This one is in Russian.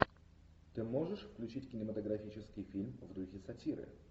ты можешь включить кинематографический фильм в духе сатиры